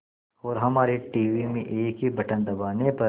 और हमारे टीवी में एक ही बटन दबाने पर